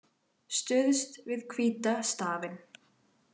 Stuðst við hvíta stafinn